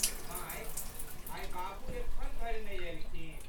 माय! आइ बाबू एखनधरि नहि एलखिन?